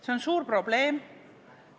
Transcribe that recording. See on suur probleem.